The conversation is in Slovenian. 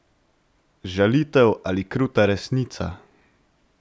Žalitev ali kruta resnica?